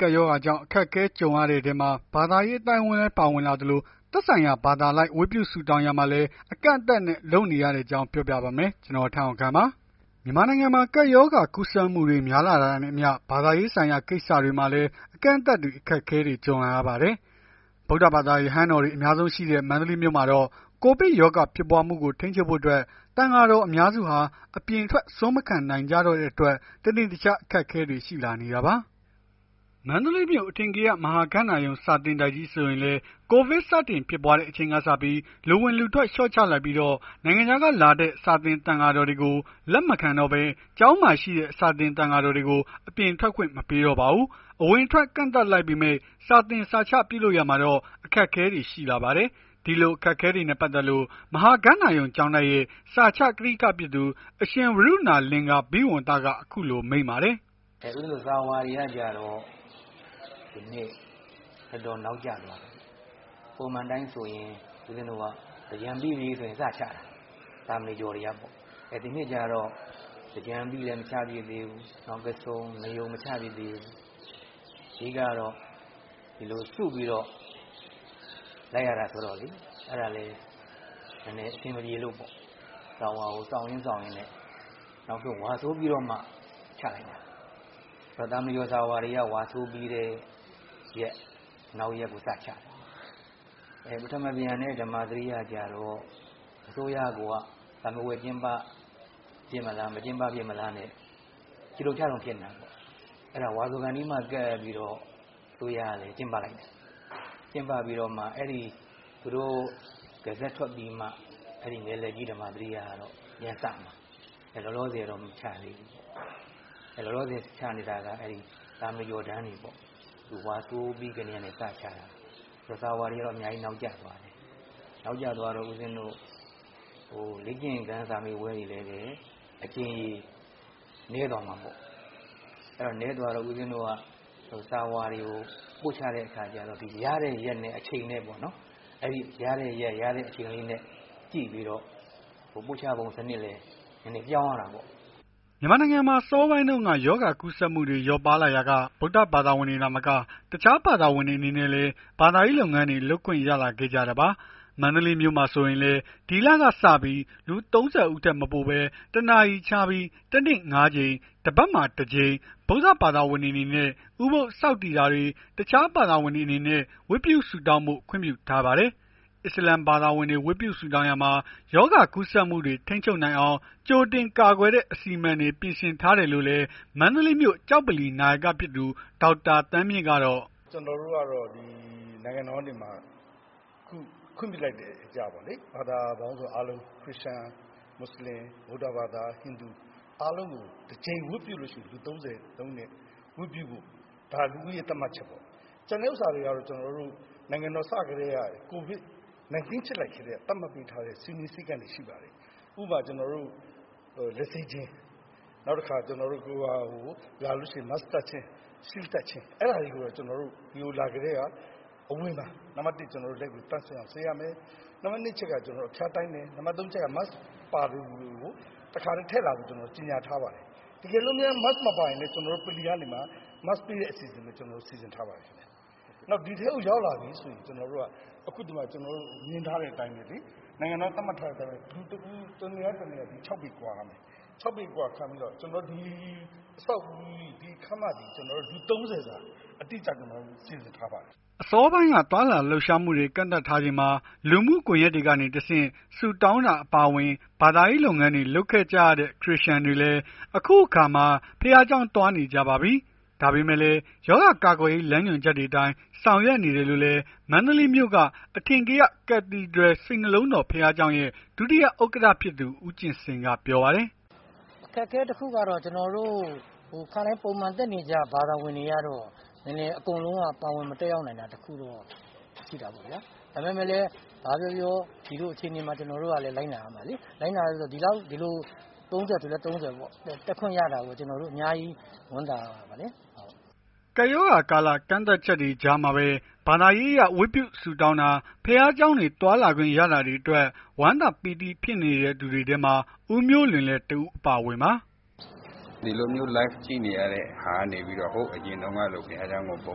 ကပ်ရောဂါကြောင့် အခက်အခဲ ကြုံရတဲ့အထဲမှာ ဘာသာရေး အသိုင်းအဝန်းလည်း ပါဝင်လာနေသလို သက်ဆိုင်ရာ ဘာသာအလိုက် ဝတ်ပြုဆုတောင်းရာမှာလည်း အကန့်အသတ်နဲ့ လုပ်နေရတဲ့အကြောင်းကို ဗွီအိုအေမြန်မာပိုင်းသတင်းထောက် ကိုထက်အောင်ခန့်က ပြောပြပါမယ်။ မြန်မာနိုင်ငံမှာ ကပ်ရောဂါ ကူးစက်မှုတွေ များလာတာနဲ့အမျှ ဘာသာရေးဆိုင်ရာ ကိစ္စတွေမှာလည်း အကန့်အသတ်တွေ၊ အခက်အခဲတွေ ကြုံလာပါတယ်။ ဗုဒ္ဓဘာသာ ရဟန်းတော်တွေ အများဆုံးရှိတဲ့ မန္တလေးမြို့မှာတော့ ကိုဗစ်ရောဂါ ဖြစ်ပွားမှုကို ထိန်းချုပ်ဖို့ အတွက် သံဃာတော် အများစုဟာ အပြင်ထွက် ဆွမ်းမခံနိုင်ကြတော့တဲ့အတွက် တနေ့တခြား အခက်အခဲတွေ ရှိလာနေတာပါ။ မန္တလေးမြို့ အထင်ကရ မဟာဂန္ဓာရုံ စာသင်တိုက်ကြီးဆိုရင်လည်း ကိုဗစ်စတင်ဖြစ်ပွားတဲ့အချိန်ကစပြီး လူဝင်လူထွက် လျှော့ချလိုက်ပြီး နိုင်ငံခြားကနေလာတဲ့ စာသင်သံဃာတော်တွေကို လက်မခံတော့ဘဲ ကျောင်းမှာရှိတဲ့ စာသင်သံဃာတော်တွေကို အပြင်ထွက်ခွင့်မပေးတော့ပါဘူး။ အဝင်အထွက် ကန့်သတ်လိုက်ပေမဲ့ စာသင်စာချပြုလုပ်ရာမှာတော့ အခက်အခဲတွေ ရှိလာပါတယ်။ ဒီအခက်အခဲတွေနဲ့ ပတ်သက်လို့ မဟာဂန္ဓာရုံကျောင်းတိုက်ရဲ့ စာချကထိကဖြစ်သူ အရှင်ဝရုဏာ လင်္ကာရာဘိဝံသက အခုလို မိန့်ပါတယ်။ “ဦးဇင်းတို့စာဝါတွေကကျတော့ ဒီနှစ်တော်တော်နောက်ကျသွားပြီ။ ပုံမှန်အတိုင်းဆို သင်္ကြန်ပြီးရင် စချတာ သာမဏေကျော်တွေကပေါ့။ ဒီနှစ်လည်းကျတော့ သင်္ကြန်ပြီးလည်း မချဖြစ်သေးဘူး။ နောက်ပိတ်ဆုံး နယုန် မချဖြစ်သေးဘူး။ အဓိက ကတော့ စုပြီးတော့ လိုက်ရတာဆိုတော့လေ။ အဲ့ဒါလည်း နည်းနည်း အဆင်မပြေလို့ပေါ့။ စာဝါကို စောင်ရင်းစောင့်ရင်းနဲ့ နောက်ဆုံး ဝါဆိုပြီးတော့မှ ချဖြစ်တယ်။ သာမဏေကျော်တွေက စာဝါကို ဝါဆိုပြီးတဲ့ရက် နောက်ရက်ကိုချတယ်။ ပထမံပြန်နဲ့ ဓမာစရိယကျတော့ အစိုးရကိုက စာမေးပွဲ ကျင်းပဖြစ်မလား မကျင်းပဖြစ်မလားနဲ့ ချိတုံချတုံဖြစ်နေတာ။ အဲ့တော့ ဝါဆိုကာနီးမှ ကပ်ပြီး အစိုးရက ကျင်းပလိုက်တယ်။ ကျင်းပပြီးတော့မှ သူတို့ Result ထွက်ပြီးမှ ဓမ္မာစရိယက ပြန်စမှာ။ လောလောဆယ်တော့ မချသေးဘူး။ လောလောဆယ် ချနေတာက သာမဏေကျော်တန်းတွေပေါ့။ ဝါဆိုပြီးကတည်းက စချတာ။ စာဝါတွေက နောက်ကျသွားတယ်။ နောက်ကျသွားတော့ ဦးဇင်းတို့ လေ့ကျင့်ခန်းစာမေးပွဲ အကြိမ်ရေ နည်းသွားမှာပေါ့။ နည်းသွားတော့ စာဝါတွေကို ပို့ချတဲ့အခါကျတော့ ရတဲ့ရက်ရယ်အချိန်ရယ်။ ပို့ချပုံစနစ်လည်း ပြောင်းရတာပေါ့။" မြန်မာနိုင်ငံမှာ အစောပိုင်းတုန်းက ရောဂါကူးစက်မှုတွေ လျော့ပါးလာရာက ဗုဒ္ဓဘာသာဝင်တွေ သာမက တခြားဘာသာဝင်တွေ အနေနဲ့လည်း ဘာသာရေးလုပ်ငန်းတွေ လုပ်ခွင့်ရလာခဲ့ကြတာပါ။ မန္တလေးမြို့မှာဆိုရင်လည်း ဒီလလည်ကစပြီး လူ ၃၀ ဦးထက်မပိုဘဲ ၁ နာရီခြားပြီး တနေ့ ၅ ကြိမ်တပတ်မှာ တကြိမ် ဗုဒ္ဓဘာသာဝင်တွေအနေနဲ့ ဥပုဒ်ဆောက်တည်တာတွေ အခြားဘာသာဝင်တွေအနေနဲ့ ဝတ်ပြုဆုတောင်းဖို့ ခွင့်ပြုထားပါတယ်။ အစ္စလာမ်ဘာသာဝင်တွေ ဝတ်ပြုဆုတောင်းရာမှာ ရောဂါကူးစက်မှုတွေကို ထိန်းချုပ်နိုင်အောင် ကြိုတင်ကာကွယ်တဲ့ အစီအမံတွေ ပြင်ဆင်ထားတယ်လို့လည်း မန္တလေးမြို့ ကျောက်ဗလီ နာယကဖြစ်သူ ဒေါက်တာ သန်းမြင့်က... “ကျနော်တို့ကတော့ နိုင်ငံတော်က ခွင့်ပြုလိုက်တဲ့အရပေါ့လေ။ ဘာသာပေါင်းစုံအားလုံး ခရစ်ယာန်၊ မွတ်စလင်၊ ဗုဒ္ဓဘာသာ၊ ဟိန္ဒူ တကြိမ် ဝတ်ပြုလို့ရှိရင် လူ ၃၀ ဝတ်ပြုဖို့ ဒါလူဦးရေ သတ်မှတ်ချက်ပေါ့။ ကျန်တဲ့ဟာတွေကျတော့ ကိုဗစ်စဖြစ်ကတည်းက သတ်မှတ်လိုက်တဲ့ စည်းမျဉ်းစည်းကမ်းတွေ ရှိပါတယ်။ ဥပမာ ကျနော်တို့ လက်ဆေးခြင်း Mask တပ်ခြင်း၊ Shield တပ်ခြင်း အဲ့ဒါတွေကို ဒီကိုလာကတည်းက အဝင်မှာ နံပတ် ၁ လက်ကိုသန့်စင်အောင်ဆေးရမယ်။ နံပါတ် ၂ အချက်က ကျနော်တို့ အဖျားတိုင်းတယ်။ နံပါတ် ၃ အချက်က Mask ပါသူကို တခါတည်း ထည့်လာဖို့ပြောတယ်။ တကယ်လို့ Mask မပါရင်လည်း ကျနော်တို့ ဗလီကနေမှ Mask ပေးတဲ့ အစီအစဉ်တွေ ကျနော်တို့ စီစဉ်ထားပါတယ်ခင်ဗျ။ နောက်ဒီထဲကို ရောက်လာပြီဆိုရင် ကျနော်တို့ နိုင်ငံတော်က သတ်မှတ်ထားတဲ့ အတိုင်းပဲ လူတဦး တနေရာနဲ့ တနေရာ ၆ ပေကွာရမယ်။ ဒီခန်းမမှာ လူ ၃၀ စာ အတိအကျ စီစဉ်ထားပါတယ်။” အစောပိုင်း သွားလာလှုပ်ရှားမှုတွေ ကန့်သတ်ထားချိန်မှာ လူမှုကွန်ယက်တွေကနေ ဆုတောင်းတာ အပါအဝင် ဘာသာရေးလုပ်ငန်းတွေ လုပ်ခဲ့ကြရတဲ့ ခရစ်ယာန်တွေလည်း အခုအခါ ဘုရားကျောင်းသွားနေကြပါပြီ။ ဒါပေမဲ့လည်း ရောဂါကာကွယ်ရေး လမ်းညွှန်ချက်တွေအတိုင်း ဆောင်ရွက်နေတယ်လို့လည်း မန္တလေးမြို့က အထင်ကရ Cathedral စိတ်နှလုံးတော် ဘုရားကျောင်းရဲ့ ဒုတိယဥက္ကဋ္ဌ ဖြစ်သူ ဦးကြင်စိန်က ပြောပါတယ်။ “အခက်အခဲတခုကတော့ ကျနော်တို့ ပုံမှန်တက်နေကြ ဘာသာဝင်တွေကတော့ နည်းနည်းတော့ အကုန်လုံး ပါဝင်မတက်ရောက်နိုင်တာ တခုတော့ ရှိတာပေါ့ဗျာ။ ဘာပဲပြောပြော ဒီလိုအခြေအနေမှာ ကျွန်တော်တို့က လိုက်နာရမယ်လေ။ လိုက်နာရမယ်ဆိုတော့ ဒီလို ၃၀ ဆိုလည်း ၃၀ ပေါ့။ တက်ခွင့်ရတာကိုပဲ အများကြီး ဝမ်းသာရပါတယ်။” ကပ်ရောဂါကာလ ကန့်သတ်ချက်တွေ ကြားမှာပဲ ဘာသာရေးအရ ဝတ်ပြုဆုတောင်းတာ ဘုရားကျောင်းတွေ သွားခွင့်ရလာတာတွေအတွက် ဝမ်းသာပီတိ ဖြစ်နေသူတွေထဲမှာ ဦးမျိုးလွင်လည်း တဦးအပါအဝင်ပါ။ “ဒီလိုမျိုး Live ကြည့်နေရတဲ့ဟာကနေ ဟိုးအရင်တုန်းကလို ဘုရားကျောင်းကို ပုံ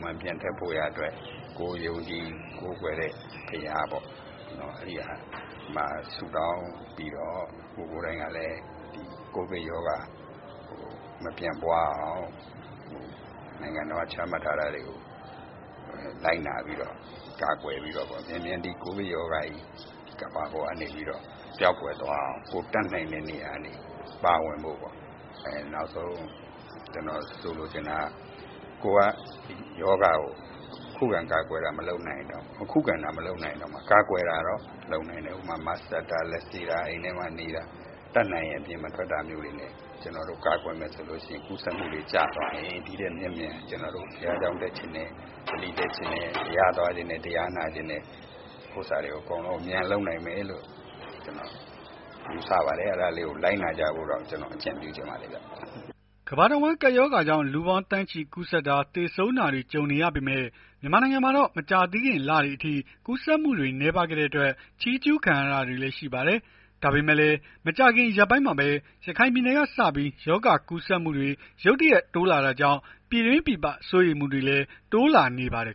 မှန်ပြန်တက်ဖို့ရာအတွက် ကိုယ်ယုံကြည်ကိုးကွယ်တဲ့ ဘုရားပေါ့ ဘုရားမှာ ဆုတောင်းပြီးတော့ ကိုယ်ကိုယ်တိုင်ကလည်း ကိုဗစ်ရောဂါ မပြန့်ပွားအောင် နိုင်ငံတော်က ချမှတ်ထားတာတွေကို လိုက်နာပြီးတော့ ကာကွယ်ပြီးတော့ မြန်မြန် ဒီကိုဗစ်ရောဂါကြီး ကမ္ဘာပေါ်ကနေပြီးတော့ ပျောက်ကွယ်သွားအောင် ကိုယ်တတ်နိုင်တဲ့နေရာကနေ ပါဝင်ဖို့။ နောက်ဆုံး ကျနော် လိုချင်တာ ခုခံကာကွယ်တာ မလုပ်နိုင်ရင်တောင် ခုခံတာ မလုပ်နိုင်ရင်တောင် ကာကွယ်တာတော့ လုပ်နိုင်တယ်။ ဥပမာ Mask တပ်တာ လက်ဆေးတာ အိမ်ထဲမှာနေတာ တတ်နိုင်ရင် အပြင်မထွက်တာမျိုးတွေ ကာကွယ်မယ်ဆိုရင် ကူးစက်မှုတွေကျသွားရင် ဒီထက်မြန်မြန် ဘုရားကျောင်း တက်ချင်တယ်။ ဗလီတက်ချင်တယ်။ ဘုရားသွားချင်တယ်။ တရားနာချင်တဲ့ ဥစ္စာတွေကို အမြန်ဆုံး ပြန်လုပ်နိုင်မယ်လို့ ယူဆပါတယ်။ အဲ့ဒါလေးကို လိုက်နာကြဖို့တော့ ကျနော် အကြံပြုချင်ပါတယ်။” ကမ္ဘာတဝန်း ကပ်ရောဂါကြောင့် လူပေါင်းသန်းချီ ကူးစက်တာ သေဆုံးတာတွေ ကြုံနေရပေမဲ့ မြန်မာနိုင်ငံမှာတော့ မကြာသေးခင်လတွေအထိ ကူးစက်မှုတွေ နည်းပါးခဲ့တဲ့အတွက် ချီးကျုးခံခဲ့ရတာတွေလည်း ရှိပါတယ်။ ဒါပေမဲ့လည်း မကြာခင် ရက်ပိုင်းမှာပဲ ရခိုင်ပြည်နယ်ကနေစပြီး ရောဂါကူးစက်မှုတွေ ရုတ်တရက် တိုးလာတာကြောင့် ပြည်တွင်းပြည်ပ စိုးရိမ်မှုတွေလည်း တိုးလာနေပါတယ်